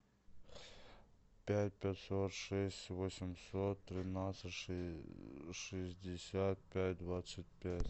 пять пятьсот шесть восемьсот тринадцать шестьдесят пять двадцать пять